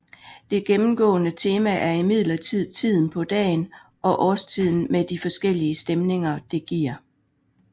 Det gennemgående tema er imidlertid tiden på dagen og årstiden med de forskellige stemninger det giver